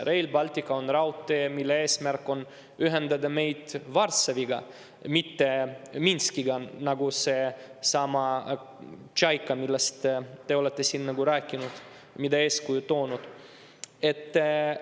Rail Baltic on raudtee, mille eesmärk on ühendada meid Varssaviga, mitte Minskiga, nagu seesama Tšaika, millest te siin rääkisite ja mida eeskujuks tõite.